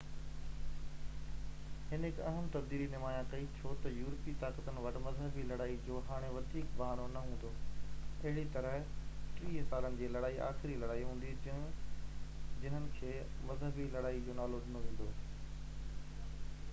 هن هڪ اهم تبديلي نمايان ڪئي ڇو تہ يورپي طاقتن وٽ مذهبي لڙائين جو هاڻي وڌيڪ بهانو نہ هوندو اهڙي طرح ٽيهہ سالن جي لڙائي آخري لڙائي هوندي جننهن کي مذهبي لڙائي جو نالو ڏنو ويندو